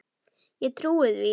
Ég trúi því ekki,